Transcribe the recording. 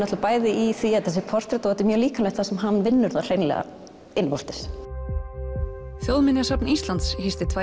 bæði í því að þetta sé portrett og þetta er mjög líkamlegt þar sem hann vinnur það hreinlega innvortis þjóðminjasafn Íslands hýsti tvær